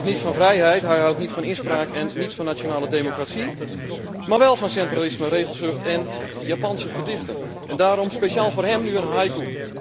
Hij houdt niet van vrijheid, hij houdt niet van inspraak en niet van nationale democratie, maar wel van centralisme, regelzucht en Japanse gedichten. Daarom speciaal voor hem nu een haiku.